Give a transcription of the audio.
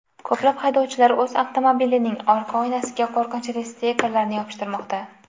Ko‘plab haydovchilar o‘z avtomobilining orqa oynasiga qo‘rqinchli stikerlarni yopishtirmoqda.